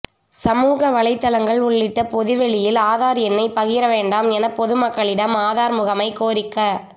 சமூக வலைதளங்கள் உள்ளிட்ட பொதுவெளியில் ஆதார் எண்ணை பகிர வேண்டாம் என பொதுமக்களிடம் ஆதார் முகமை கோரிக்க